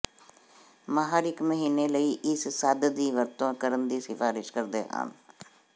ਮਾਹਰ ਇੱਕ ਮਹੀਨੇ ਲਈ ਇਸ ਸੰਦ ਦੀ ਵਰਤੋਂ ਕਰਨ ਦੀ ਸਿਫਾਰਸ਼ ਕਰਦੇ ਹਨ